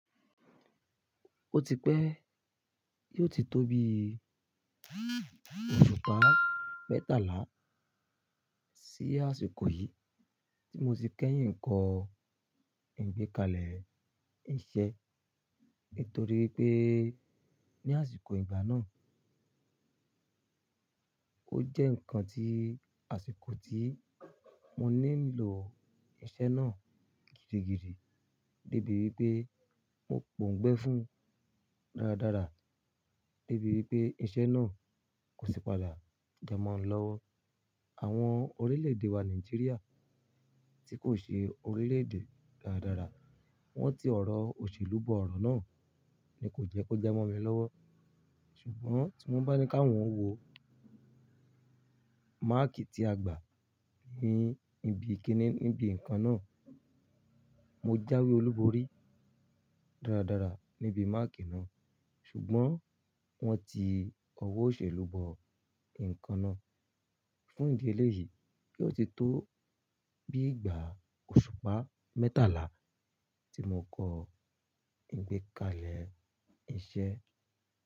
Ó ti pẹ́ yoó ti tó bí òṣùpá mẹ́tàlá sí àsìkò yìí tí mo ti kẹ́yìn kọ ìgbékalẹ̀ iṣẹ́. Nítorí pé ní àsìkò ìgbà náà, ó jẹ́ ǹkan tí àsìkò tí mo nílo iṣẹ́ náà gidigidi débi wípé mo pòungbẹ́ fún dáradára. Débi wípé iṣẹ́ náà kò sì padà ja mọ́ mi lọ́wọ́. Àwọn orílẹ̀-èdè wa Nàìjíríà tí kò ṣe orílẹ̀-èdè dáradára. Wọ́n ti ọ̀rọ̀ òṣèlú bọ̀ ọ̀rọ̀ náà ni kò jẹ́ kó ja mọ́ mi lọ́wọ́. Ṣùgbọ́n tí wọ́n bá ní káwọ́n wo máàkì tí a gbà ní ibi ikiní níbi ǹkan náà. Mo jáwé olúborí dáradára níbi máàkì náà. Ṣùgbọ́n wọ́n ti ọwọ́ òṣèlú bọ ǹkan náà. Fún ìdí eléyìí yoó ti tó bí ìgbà òṣùpá mẹ́tàlá tí mo kọ ìgbékalẹ̀ iṣẹ́.